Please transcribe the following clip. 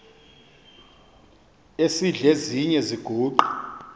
esidl eziny iziguqa